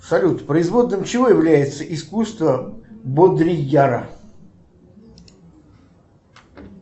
салют производным чего является искусство бодрияра